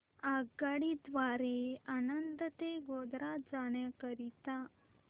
आगगाडी द्वारे आणंद ते गोध्रा जाण्या करीता